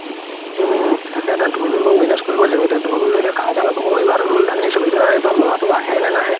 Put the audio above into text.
উম তাকেই এতিয়া ধুলতো manage কৰিব লাগিব এতিয়া ধুলতো কাই ওচৰত মই এইবাৰতো ধুল এটা নিচিলো এতিয়া ল'ৰাটো আহে নে নাহে